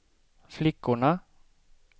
flickorna